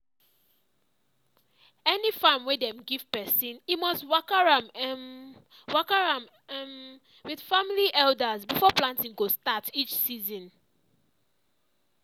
any farm wey dem give person e must waka am um waka am um with family elders before planting go start each season.